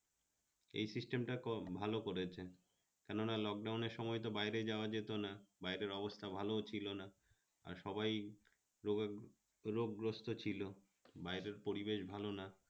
এই system টা কো ভালো করেছে, কেননা lockdown এর সময় তো বাইরে যাওয়া যেত না বাইরের অবস্থা ভালও ছিল না আস সবাই রো রোগ গ্রস্থ ছিল, বাইরে পরিবেশ ভালো না